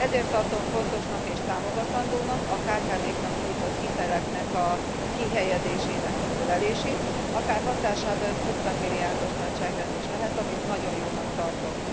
Ezért tartom fontosnak és támogatandónak a kkv knak nyújtott hitelek kihelyezésének a növelését, akár hatásában ez 50 milliárdos nagyságrend is lehet, amit nagyon jónak tartok.